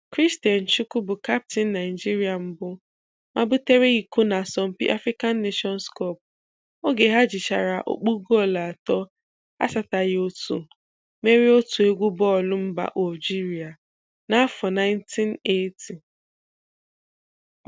Christian Chukwu bụ kaptịn Naịjirịa mbụ mabutere iko n'asọmpi African Nations Cup oge ha jichara ọkpụ goolu atọ asataghị otu merie otu egwu bọọlụ mba Ọljirịa n'afọ 1980